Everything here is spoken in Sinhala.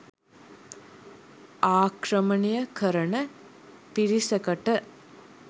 ආක්‍රමණය කරණ පිරිසකට